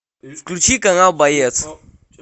включи канал боец